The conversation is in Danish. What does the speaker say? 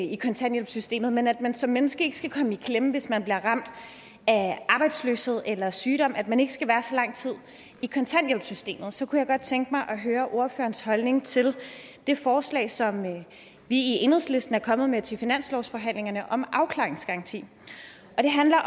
i kontanthjælpssystemet men at man som menneske ikke skal komme i klemme hvis man bliver ramt af arbejdsløshed eller sygdom altså at man ikke skal være så lang tid i kontanthjælpssystemet så kunne jeg godt tænke mig at høre ordførerens holdning til det forslag som vi i enhedslisten er kommet med til finanslovsforhandlingerne om afklaringsgaranti det handler